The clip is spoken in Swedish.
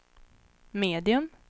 medium